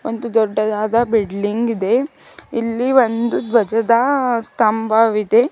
ಒಂದು ದೊಡ್ಡದಾದ ಬಿಡ್ಲಿಂಗ್ ಇದೆ ಇಲ್ಲಿ ಒಂದು ಧ್ವಜದ ಸ್ತಂಭವಿದೆ.